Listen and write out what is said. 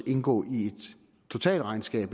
indgå i et totalregnskab